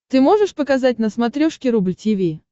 ты можешь показать на смотрешке рубль ти ви